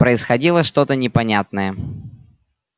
происходило что то непонятное